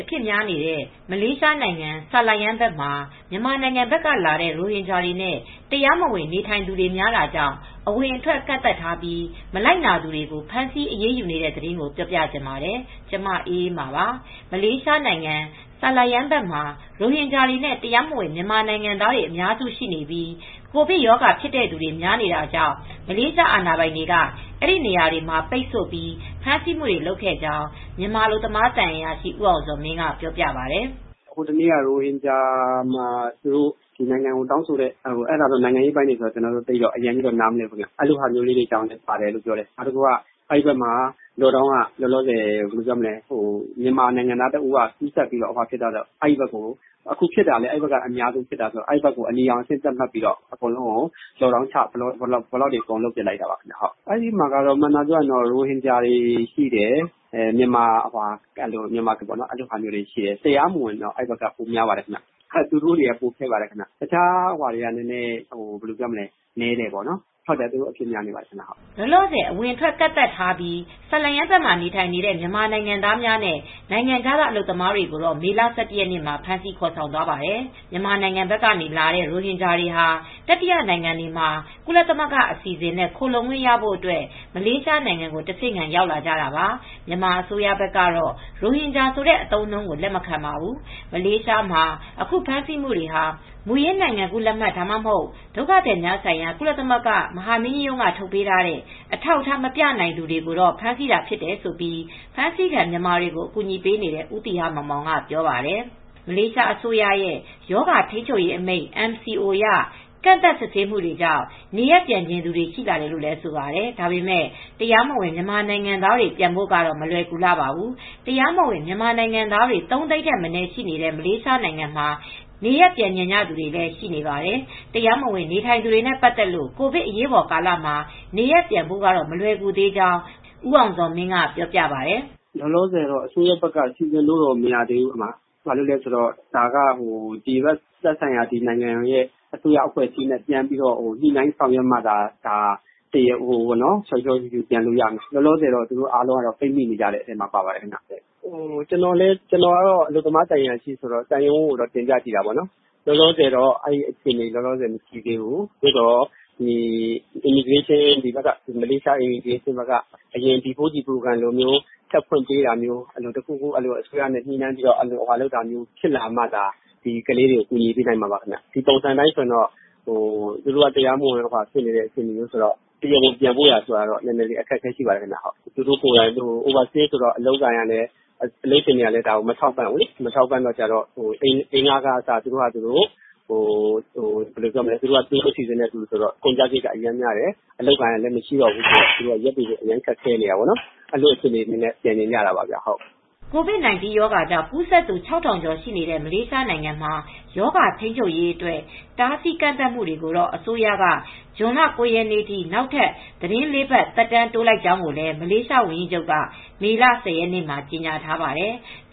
အဖြစ်များနေတဲ့ မလေးရှားနိုင်ငံ ဆာလာရမ်းဘက်မှာ မြန်မာနိုင်ငံဘက်ကလာတဲ့ ရိုဟင်ဂျာတွေနဲ့ တရားမဝင်နေထိုင်သူတွေ များတာကြောင့် အဝင်အထွက် ကန့်သတ်ထားပြီး မလိုက်နာသူတွေကို ဖမ်းဆီးအရေးယူနေတဲ့သတင်းကို ဗွီအိုအေ မြန်မာပိုင်း သတင်းထောက် မအေးအေးမာက ပြောပြပေးပါမယ်။ မလေးရှားနိုင်ငံ ဆာလာရမ်းဘက်မှာ ရိုဟင်ဂျာတွေနဲ့ တရားမဝင် မြန်မာနိုင်ငံသားတွေ အများစုရှိပြီး ကိုဗစ်ရောဂါဖြစ်တဲ့သူတွေ များနေတာကြောင့် မလေးရှားအာဏာပိုင်တွေက အဲဒီနေရာတွေမှာ ပိတ်ဆို့ပြီး ဖမ်းဆီးမှုတွေ လုပ်ခဲ့ကြောင်း မြန်မာအလုပ်သမား သံအရာရှိ ဦးအောင်ဇော်မင်းက ပြောပြပါတယ်။ "ဟိုတရက်က ရိုဟင်ဂျာတွေက နိုင်ငံကို တောင်းဆိုတဲ့ အဲ့ဒါတော့ နိုင်ငံရေးအပိုင်းတွေဆိုတော့ ကျနော်တော့ သိပ်တော့ အရမ်းကြီးတော့ နားမလည်ဘူးဗျ။ အဲ့လိုဟာမျိုးလေးတေါကြောင့်လည်းပါတယ်လို့ ပြောတယ်။ နောက်တခုက အဲ့ဘက်မှာ လောလောဆယ် မြန်မာနိုင်ငံသား တဦးက ကူးစက်ပြီးတော့ဖြစ်တာဆိုတော့ အဲ့ဘက်ကို အခုဖြစ်တာလည်း အဲ့ဘက်က အများဆုံးဖြစ်တာဆိုတော့ အဲ့ဘက်ကို အနီရောင်အဆင့် သတ်မှတ်ပြီးတော့ အကုန်လုံးကို လော့ခ်ဒေါင်းချ ဘလော့တွေ အကုန်လုပ်ပစ်လိုက်တာပါ ခင်ဗျ။ ရိုဟင်ဂျာတွေ များတယ်။ မြန်မာမူဆလင်တွေ များတယ်။ တရားမဝင်တွေ များတယ်။ တခြားသူတွေက နည်းတယ်။ လောလောဆယ်တော့ သူတို့တွေက ကိုဗစ်အဖြစ်များနေပါတယ်။" လောလောဆယ် အဝင်အထွက် ကန့်သတ်ထားပြီး Taman Sri Murni Selayang နဲ့ Selayang Pasaar Borong မှာ နေထိုင်ကြတဲ့ မြန်မာနိုင်ငံသားများနဲ့ နိုင်ငံခြားသားအလုပ်သမားတွေကို မေလ ၁၁ ရက်နေ့က ဖမ်းဆီးခေါ်ဆေင်သွားပါတယ်။ မြန်မာနိုင်ငံက လာတဲ့ ရိုဟင်ဂျာတွေဟာ တတိယနိုင်ငံတွေမှာ ကုလသမဂ္ဂအစီအစဉ်နဲ့ ခိုလှုံခွင့်ရဖို့ မလေးရှားနိုင်ငံကို တဆင့်ခံ ရောက်လာကြတာပါ။ မြန်မာအစိုးရဘက်ကတော့ ရိုဟင်ဂျာဆိုတဲ့ အသုံးအနှုန်းကို လက်မခံပါဘူး။ မလေးရှားမှာ အခု ဖမ်းဆီးမှုတွေဟာ မူရင်းနိုင်ငံကူးလက်မှတ် ဒါမှမဟုတ် ဒုက္ခသည်များဆိုင်ရာ ကုလသမဂ္ဂမဟာမင်းကြီးရုံးက ထုတ်ပေးတဲ့ အထောက်အထား မပြနိုင်သူတွေကို ဖမ်းဆီးထားဖြစ်တယ်လို့ အဖမ်းဆီးခံမြန်မာတွေကို အကူအညီပေးနေတဲ့ ဦးသီဟမောင်မောင်က ပြောပါတယ်။ မလေးရှား အစိုးရရဲ့ ရောဂါထိန်းချုပ်ရေးအမိန့် MCO အရ ကန့်သတ်စစ်ဆေးမှုတွေကြောင့် နေရပ်တွေပြန်ချင်သူတွေ ရှိလာတယ်လို့ ဆိုပါတယ်။ ဒါပေမဲ့ တရားမဝင်မြန်မာနိုင်ငံသားတွေ ပြန်ဖို့ကတော့ မလွယ်ကူလှပါဘူး။ တရားမဝင် မြန်မာနိုင်ငံသားတွေ ၃၀၀,၀၀၀ ထက်မနည်းရှိနေတဲ့ မလေးရှားနိုင်ငံမှာ နေရပ်ပြန်ချင်တဲ့သူတွေလည်း ရှိနေပါတယ်။ တရားမဝင်နေထိုင်နေသူတွေနဲ့ ပတ်သက်လို့ ကိုဗစ်အရေးပေါ် ကာလမှာ နေရပ်ပြန်ဖို့ကတော့မလွယ်ကူသေးကြောင်း ဦးအောင်ဇော်မင်းက ပြောပါတယ်။ "လောလောဆယ်တော့ အစိုးရဘက်က စီစဉ်ပေးလို့ မရဘူး။ ဒီဘက်အစိုးရအဖွဲ့အစည်းနဲ့ ညှိနှှိုင်းဆောင်ရွက်ပေးမှသာ လျှောလျှောရှှုရှှု ပြန်လို့ရမယ်။ လောလောဆယ်သူတို့ အားလုံးက ပိတ်မိနေတဲ့အထဲမှာ ပါပါတယ်။ ကျနော်ကတော့ အလုပ်သမား သံအရာရှိဆိုတော့ သံရုံးကို တင်ပြကြည့်တယ်။ လောလောဆယ်တော့ အဲဒီလိုအခြအနေ မရှိသေးဘူး။ မလေးရှား လဝကဘက်ကနေ အရင်က ဖွင့်ပေးခဲ့တဲ့ B4 G Back For Good Program နေရပ်ရင်းကို ကောင်းမွန်စွာပြန်တဲ့ အစီစဉ်မျိုးတွေ ပြန်ဖွင့်ပေးမှသာ သူတို့ကို အကူညီပေးနိုင်မှာ ဖြစ်ပါမယ်။ လောလောဆယ် သူတို့တွေက တရားမဝင်တွေဆိုတော့ ပြန်ဖို့ရာတော့အခက်အခဲရှိနေပါတယ်။ သူတို့ကိုယ်တိုင်က အိုဗာစတေးဆိုတော့ အလုပ်ရှင်တွေကလည်းသူတို့ကို မထောက်ပံ့ဘူးလေ။ အိမ်လခကအစ သူတို့အစီစဉ်နဲ့ဆိုတော့ အိမ်လခကလည်း များတယ်။ အလုပ်အကိုင်အကိုင်ကလည်း မရှိဘူးဆိုတော့ အခက်အခဲတွေ ရှိတော့ သူတို့က အဲဒီလိုအခြေအနေနဲ့ ပြန်ချင်ကြတာပါ။" COVID-19 ရောဂါကြောင့် ကူးစက်သူ ၆,၀၀၀ ကျော်ရှိနေတဲ့ မလေးရှားနိုင်ငံမှာ ရောဂါထိန်းချုပ်ရေးအတွက် တားဆီးကန့်သတ်မှုတွေကိုတော့ အစိုးရက ဇွန်လ ၉ ရက်နေ့အထိ နောက်ထပ် သီတင်း ၄ ပတ် သက်တမ်းတိုးလိုက်ကြောင်းလည်း မလေးရှားဝန်ကြီးချုပ်က မေလ ၁၀ ရက်နေ့က ကြေညာထားပါတယ်။